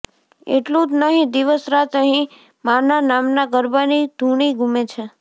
એટલું જ નહીં દિવસ રાત અહીં માંના નામના ગરબાની ધૂણી ગુમે છે